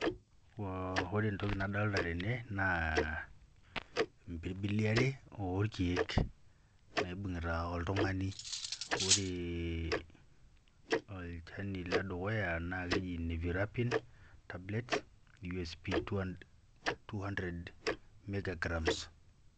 Ore entoki nadolita tene naa, impirbili are orkeek naibungita oltungani. Oree olchani ledukuya naa keji neephirapine tablets USP 200mgs.